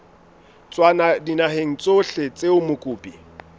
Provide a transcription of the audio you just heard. tswa dinaheng tsohle tseo mokopi